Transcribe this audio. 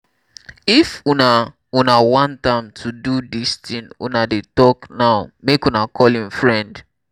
if una una want am to do dis thing una dey talk now make una call im friend